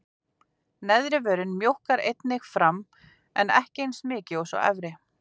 Neðri vörin mjókkar einnig fram en ekki eins mikið og sú efri.